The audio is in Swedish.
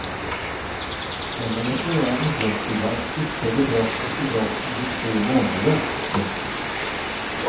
En eller flera inbrottstjuvar utförde brott efter brott under två månader. punkt